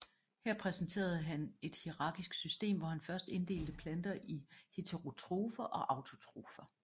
Her præsenterede han et hierarkisk system hvor han først inddelte planter i heterotrofer og autotrofer